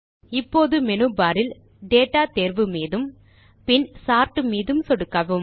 இப்போது menu bar இல் data தேர்வு iமீது சொடுக்கி பின் சோர்ட் மீது சொடுக்கவும்